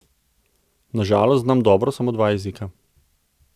Na žalost znam dobro samo dva jezika.